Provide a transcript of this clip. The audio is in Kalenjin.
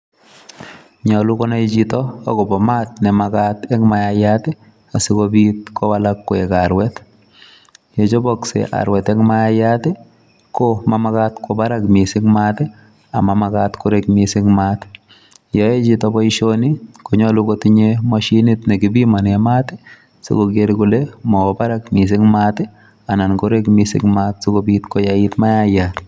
Nyolu konai chito agobo maat nemagat eng mayaiyat, asigobit kowalak koek arwet. Ye choboksei arwet eng mayaiyat, ko ma magat kwo barak mising maat amamagat korek mising mat. Ye aechito boisioni, konyolu kotinye mashinit nekipimane maat, sikoger kole mawo barak mising maat anan korek mising maat sikobit koyait mayaiyat.